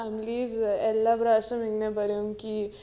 families എല്ലാ പ്രാവിശ്യം ഇങ്ങന പറയും